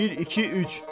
Bir, iki, üç.